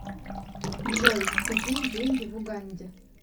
джой какие деньги в уганде